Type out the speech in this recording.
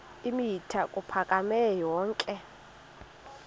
eemitha ukuphakama yonke